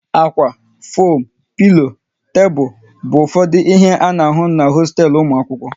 Ákwá, foam, pilo, tebụl bụ ụfọdụ ihe a na-ahụ n'hosteelu ụmụ akwụkwọ